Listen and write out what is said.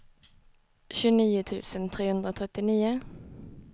tjugonio tusen trehundratrettionio